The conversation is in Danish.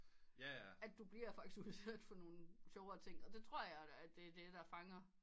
At du bliver faktisk udsat for nogen sjovere ting og det tror jeg da er der der fanger